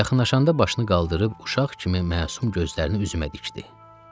Yaxınlaşanda başını qaldırıb uşaq kimi məsum gözlərini üzümə dikdi.